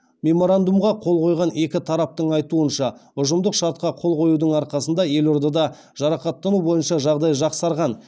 меморандумға қол қойған екі тараптың айтуынша ұжымдық шартқа қол қоюдың арқасында елордада жарақаттану бойынша жағдай жақсарған